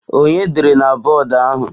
Ònye dere na bọọdụ ahụ?